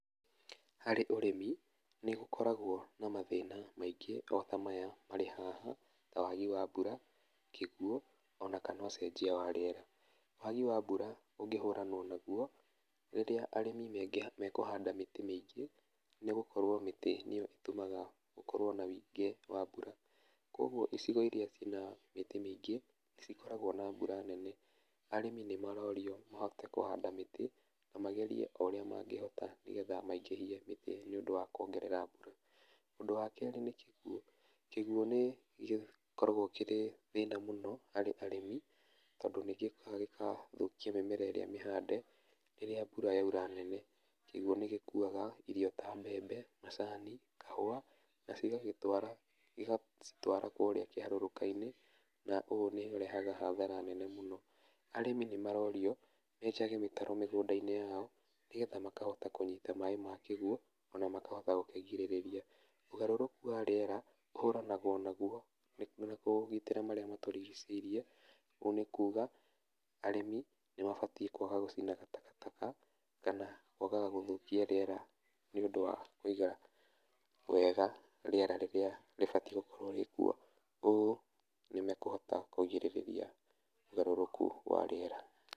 Harĩ ũrĩmi, nĩgũkoragwo na mathĩna maingĩ ota maya marĩ haha, ta wagi wa mbura, kĩguo, ona kana ũcenjia wa rĩera, wagi wa mbura ũngĩhũranwo naguo, rĩrĩa arĩmi maingĩha nĩ kũhanda mĩtĩ mĩingĩ, nĩgũkorwo mĩtĩ nĩyo ĩtũmaga gũkorwo na wũingĩ wa mbura, koguo ũcirĩria cina mĩtí mĩingĩ nĩcikoragwo na mbura nene, arĩmi nĩmarorio mahote kũhand amĩtĩ, na magerie ũrĩa mangĩhota nĩgetha maingĩhie mĩtĩ nĩũndũ wa kuongerera mbura, úndũ wa kerĩ nĩ kíguo, kĩguo nĩ gĩkoragwo kĩrĩ thĩna mũno, harĩ arĩmi, tondũ nĩgĩũkaga gĩka thũkia mĩmera ĩrĩa mĩhande, rĩrĩa mbura yaura nene, kĩguo nĩgĩkuaga irio ta mbembe, macani, kahũa, na cigacitwara cigatwara kũrĩa kĩharũrũka-inĩ, na ũ nĩũrehaga hathara nene mũno, arĩmi nĩmarorio, menjage mĩtaro mĩgũnda-inĩ yao, nĩgetha makahota kũnyita maĩ ma kĩguo, ona makahota gũkĩgirĩrĩria, ũgarũrũku wa rĩera, ũhũranagwo naguo nĩkũ marĩa matũrigicĩirie, ũguo níkuga, arĩmi nĩmabatiĩ kwaga gũcinaga takataka, kana kwagaga gũthũkia rĩera, nĩũndũ wa kũiga wega, rĩera rĩrĩa rĩbatiĩ gũkorwo rĩkuo, ũ na kũhota kũgirĩrĩria ũgarũrũku wa rĩera.